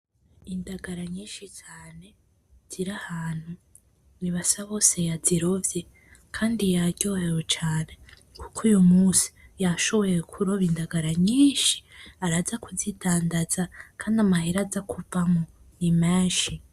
Indagara nyinshi cane ziri ahantu ni basabose yazirovye kandi yaryohewe cane kuko uy munsi yashoboye kuroba indagara nyinshi araza kuzidandaza kandi amahera aza kuvamwo ni menshi